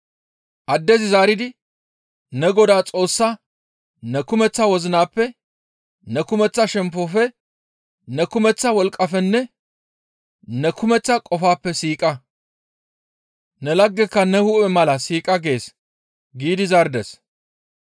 Addezi zaaridi, «Ne Godaa Xoossaa ne kumeththa wozinappe, ne kumeththa shemppofe, ne kumeththa wolqqafenne ne kumeththa qofappe siiqa; ne laggeka ne hu7e mala siiqa gees» giidi zaarides.